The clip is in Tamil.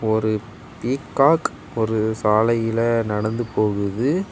ஒரு பீகாக் ஒரு சாலையில் நடந்து போகுது.